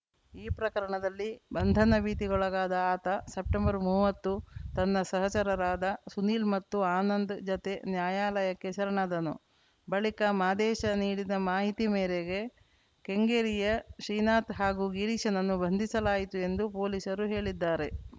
ಈ ಪ್ರಕರಣದಲ್ಲಿ ಬಂಧನ ಭೀತಿಗೊಳಗಾದ ಆತ ಸೆಪ್ಟೆಂಬರ್ಮೂವತ್ತು ತನ್ನ ಸಹಚರರಾದ ಸುನೀಲ್‌ ಮತ್ತು ಆನಂದ್‌ ಜತೆ ನ್ಯಾಯಾಲಯಕ್ಕೆ ಶರಣಾದನು ಬಳಿಕ ಮಾದೇಶ ನೀಡಿದ ಮಾಹಿತಿ ಮೇರೆಗೆ ಕೆಂಗೇರಿಯ ಶ್ರೀನಾಥ್‌ ಹಾಗೂ ಗಿರೀಶನನ್ನು ಬಂಧಿಸಲಾಯಿತು ಎಂದು ಪೊಲೀಸರು ಹೇಳಿದ್ದಾರೆ